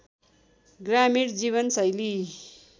ग्रामीण जीवन शैली